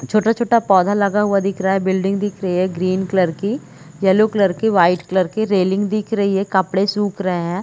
छोटा-छोटा पौधा लगा हुआ दिख रहा है बिल्डिंग दिख रही है ग्रीन कलर की येलो कलर की वाइट कलर की रेलिंग दिख रही है कपड़े सुख रहे है।